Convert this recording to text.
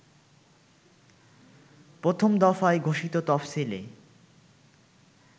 প্রথম দফায় ঘোষিত তফসিলে